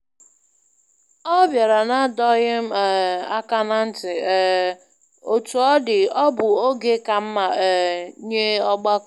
Ọ bịara n'adọghị um áká na ntị, um Otu ọ dị ọ bụ oge ka mma um nye ọgbakọ